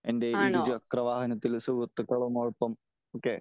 എന്റെ ഇരുചക്ര വാഹനത്തിൽ സുഹൃത്തുക്കള് ഒപ്പം